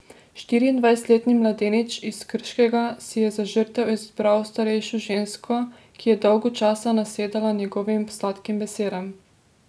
Štiriindvajsetletni mladenič iz Krškega si je za žrtev izbral starejšo žensko, ki je dolgo časa nasedala njegovim sladkim besedam.